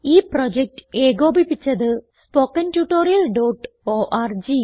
ഈ പ്രോജക്റ്റ് ഏകോപിപ്പിച്ചത് httpspoken tutorialorg